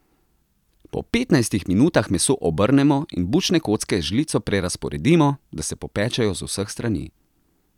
Po petnajstih minutah meso obrnemo in bučne kocke z žlico prerazporedimo, da se popečejo z vseh strani.